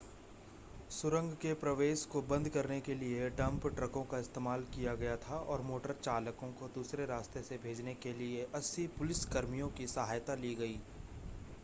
सुरंग के प्रवेश को बंद करने के लिए डंप ट्रकों का इस्तेमाल किया गया था और मोटर चालकों को दूसरे रास्ते से भेजने के लिए 80 पुलिस कर्मियों की सहायता ली गई